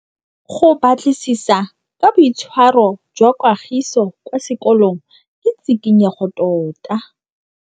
Go batlisisa ka boitshwaro jwa Kagiso kwa sekolong ke tshikinyêgô tota.